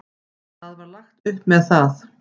Það var lagt upp með það.